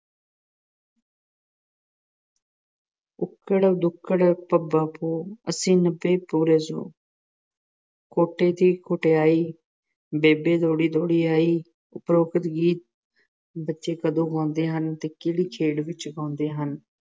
ਉੱਕੜ-ਦੁੱਕੜ ਭੰਬਾ ਭੌ, ਅੱਸੀ ਨੱਬੇ ਪੂਰਾ ਸੌ ਖੋਟੇ ਦੀ ਖਟਿਆਈ, ਬੇਬੇ ਦੌੜੀ-ਦੌੜੀ ਆਈ। ਉਪਰੋਕਤ ਗੀਤ ਬੱਚੇ ਕਦੋਂ ਗਾਉਂਦੇ ਹਨ ਅਤੇ ਕਿਹੜੀ ਖੇਡ ਵਿੱਚ ਗਾਉਂਦੇ ਹਨ?